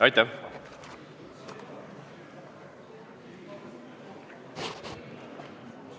Aitäh!